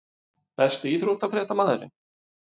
Besti íþróttafréttamaðurinn??